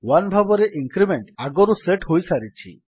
1 ଭାବରେ ଇଙ୍କ୍ରିମେଣ୍ଟ୍ ଆଗରୁ ସେଟ୍ ହୋଇସାରିଛି